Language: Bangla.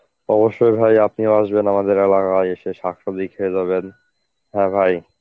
অবশ্যই ভাই আপনিও আসবেন আমাদের এলাকায় ভাই এসে শাকসবজি খেয়ে যাবেন হ্যাঁ ভাই.